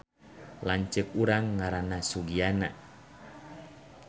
Lanceuk urang ngaranna Sugiana